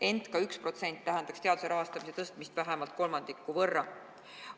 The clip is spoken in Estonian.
Ent ka 1% tähendaks teaduse rahastamise suurendamist vähemalt kolmandiku võrra.